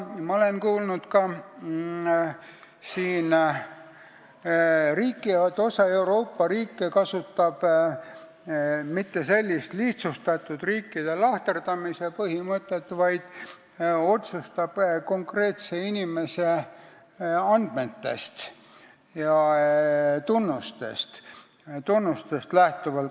Ma olen kuulnud ka, et osa Euroopa riike ei kasuta sellist lihtsustatud riikide lahterdamise põhimõtet, vaid teeb otsuseid konkreetse inimese andmetest ja tunnustest lähtuvalt.